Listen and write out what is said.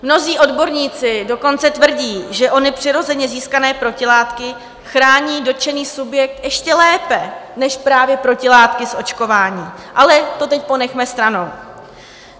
Mnozí odborníci dokonce tvrdí, že ony přirozeně získané protilátky chrání dotčený subjekt ještě lépe než právě protilátky z očkování, ale to teď ponechme stranou.